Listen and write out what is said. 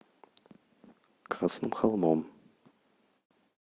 красным холмом